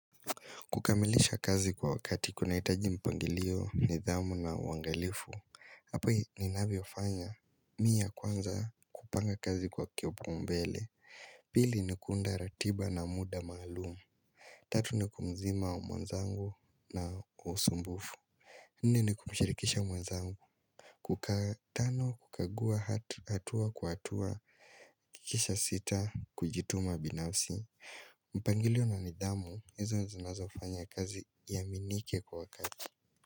Kukamilisha kazi kwa wakati kuna hitaji mpangilio, nidhamu na uangalifu hapai ninavyofanya mi ya kwanza kupanga kazi kwa kipaumbele Pili ni kuunda ratiba na muda maalumu Tatu ni kumzima mwenzangu na usumbufu Nne ni kumshirikisha mwenzangu kukaa. Tano kukagua hat hatua kwa hatua kisha sita kujituma binafsi mpangilio na nidhamu, hizo zinazo fanya kazi iaminike kwa wakati.